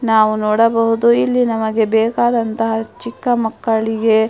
ನಾವು ನೋಡಬಹುದು ನಮಗೆ ಬೇಕಾದಂತಹ ಚಿಕ್ಕ ಮಕ್ಕಳಿಗೆ --